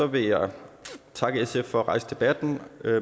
vil jeg takke sf for at rejse debatten